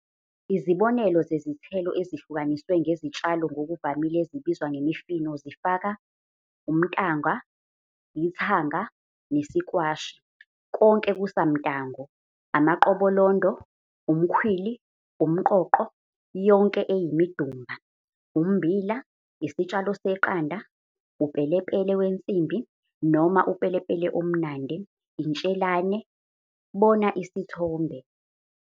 Izibonelo zezithelo ezihlukaniswe ngezitshalo ngokuvamile ezibizwa ngemifino zifaka- umtango, ithanga, nesikwashi, konke kusamtango, amaqobolondo, umkhwili, umqoqo, yonke eyimidumba, ummbila, isitshalo seqanda, upelepele wensimbi, noma upelepele omnandi, intshelane, bona isithombe.